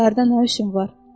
Şəhərdə nə işin var?